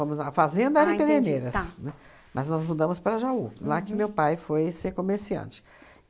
a fazenda era em Pederneiras, né, mas nós mudamos para Jaú, lá que meu pai foi ser comerciante.